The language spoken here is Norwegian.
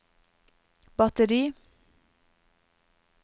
batteri